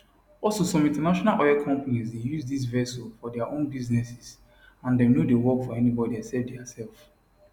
also some international oil companies dey use dis vessels for dia own businesses and dem no dey work for anybody except diasef